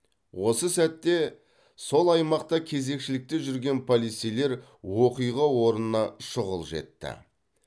осы сәтте сол аймақта кезекшілікте жүрген полицейлер оқиға орнына шұғыл жетті